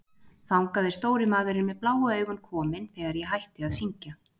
Þangað er stóri maðurinn með bláu augun kominn þegar ég hætti að syngja.